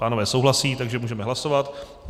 Pánové souhlasí, takže můžeme hlasovat.